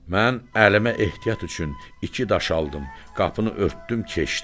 Mən əlimə ehtiyat üçün iki daş aldım, qapını örtdüm, keçdim.